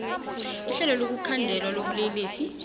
ihlelo lokukhandelwa kobulelesi